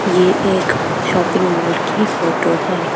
ये एक shopping mall की फोटो है।